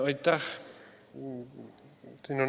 Aitäh!